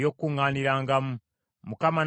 Mukama n’agamba Musa nti,